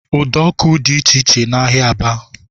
Udo ọkụ dị iche iche n'ahịa Aba